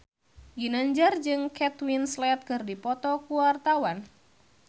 Ginanjar jeung Kate Winslet keur dipoto ku wartawan